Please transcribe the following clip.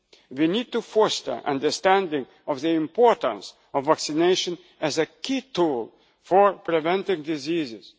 We need to foster an understanding of the importance of vaccination as a key tool for preventing